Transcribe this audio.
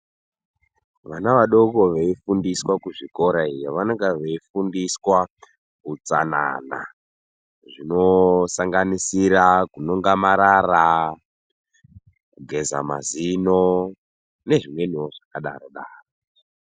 Vana vadoko veifundiswa kuzvikoro iyo vanenge veifundiswa utsanana zvinosanganisira kunonga amarara kugeza mazino nezvimweniwo zvakadaro daro.